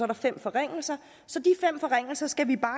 der fem forringelser så de fem forringelser skal vi bare